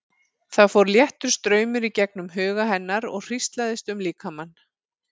Það fór léttur straumur í gegnum huga hennar og hríslaðist um líkamann.